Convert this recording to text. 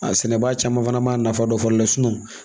A sɛnɛbaa caman fana man a nafa dɔn fɔlɔ dɛ